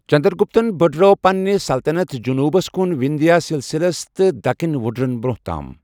چنٛدر گُپتن بڈرٲو پنٕنہِ سلطنت جٔنوٗبس کُن وِنٛدھیا سِلسِلس تہ دكنی وٗڈرن برٛونٛہہ تام ۔